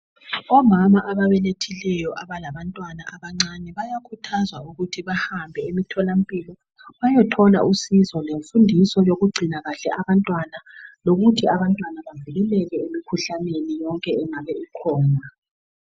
Omama ababelethileyo abalabantwana abancane bayakhuthazwa ukuthi bahambe emitholampilo bayoyothola usizo lemfundiso yokugcina kahle abantwana lokuthi abantwana bavikeleke emikhuhlaneni yonke engabe ikhona.